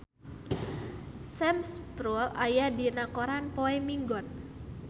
Sam Spruell aya dina koran poe Minggon